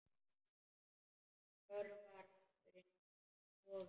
Hörfar aftur inn í stofu.